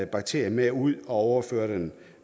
bakterie med ud og overfører den